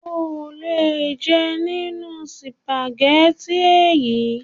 O ò lè jẹ nínú sùpàgẹ́tì è yí!